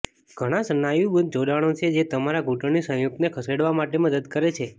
ઘણા સ્નાયુબદ્ધ જોડાણો છે જે તમારા ઘૂંટણની સંયુક્તને ખસેડવા માટે મદદ કરે છે